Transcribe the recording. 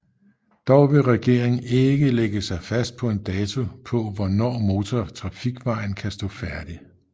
Dog vil regeringen ikke lægge sig fast på en dato på hvornår motortrafikvejen kan stå færdig